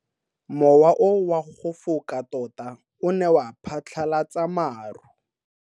Mowa o wa go foka tota o ne wa phatlalatsa maru.